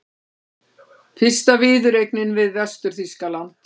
Fyrsta viðureignin við Vestur-Þýskaland